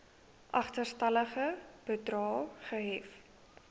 agterstallige bedrae gehef